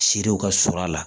Si dew ka surun a la